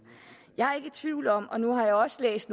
jeg er i tvivl om og nu har jeg også læst